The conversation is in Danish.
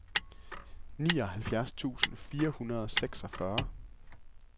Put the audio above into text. nioghalvfjerds tusind fire hundrede og seksogfyrre